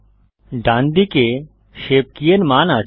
ডান দিকে shape key এর মান আছে